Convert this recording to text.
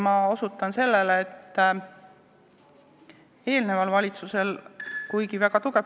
Ma osutan sellele, et eelneval valitsusel, kuigi see tempo oli väga tugev ...